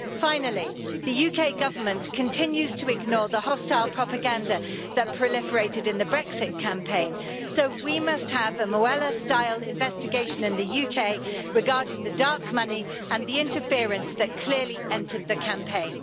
Finally, the UK Government continues to ignore the hostile propaganda that proliferated in the Brexit campaign, so we must have a Mueller style investigation in the UK regarding the dark money and the interference that clearly entered the campaign.